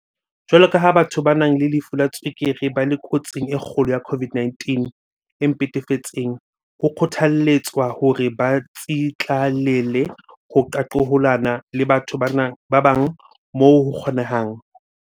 Jwaloka ha batho ba nang le lefu la tswekere ba le kotsing e kgolo ya COVID-19 e mpefetseng, ho kgothalletswa hore ba tsitlallele ho qaqolohana le batho ba bang moo ho kgo-nehang.